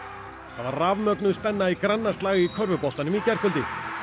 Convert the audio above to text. rafmögnuð spenna í grannaslag í körfuboltanum í gærkvöldi